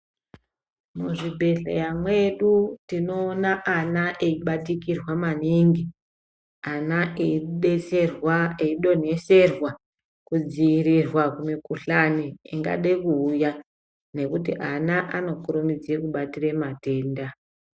Muzvibhehlera mwedu tinoona ana eibatikirwa maningi ana eibetserwa eidonhoserwa kudzivirirwa kumikhuhlani ingada kuuya ngekuti ana anokurumidza kubatira matenda.